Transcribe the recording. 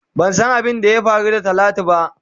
Ban san abin da ya Kari da talatu ba.